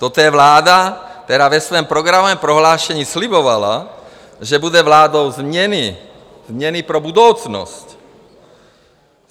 Toto je vláda, která ve svém programovém prohlášení slibovala, že bude vládou změny, změny pro budoucnost.